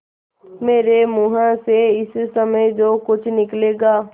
मेरे मुँह से इस समय जो कुछ निकलेगा